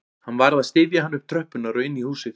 Hann varð að styðja hana upp tröppurnar og inn í húsið